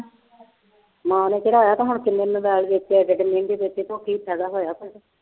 ਮਾਂ ਨੇ ਚੜ੍ਹਾਇਆ ਤੇ ਹੁਣ ਕਿੰਨੇ ਮੋਬਾਇਲ ਵੇਚੇ ਆ ਤੇ ਕਿੰਨੇ ਦੇ ਵੇਚੇ ਫ਼ਾਇਦਾ ਹੋਇਆ ਕੁੱਝ